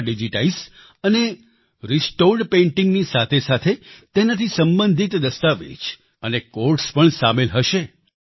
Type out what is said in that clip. તેમાં ડિજીટાઈઝ્ડ અને restored painting ની સાથે સાથે તેનાથી સંબંધિત દસ્તાવેજ અને ક્વોટ્સ પણ સામેલ હશે